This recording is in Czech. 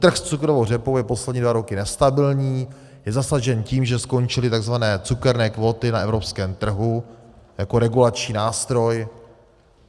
Trh s cukrovou řepou je poslední dva roky nestabilní, je zasažen tím, že skončily tzv. cukerné kvóty na evropském trhu jako regulační nástroj.